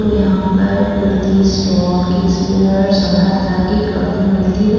तो यहाँ पर कुर्ती स्टॉप किड्स वेयर्स और हर तरह की क्लॉथिंग मिलती है।